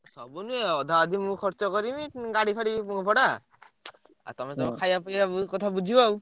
ସବୁ ନୁହେଁ। ଅଧାଅଧି ମୁଁ ଖର୍ଚ କରିବି। ଉଁ ଗାଡି ଫାଡି ଭଡା ଆଉ ତମେ ତମ ଖାଇଆ ପିଆ କଥା ବୁଝିବ ଆଉ।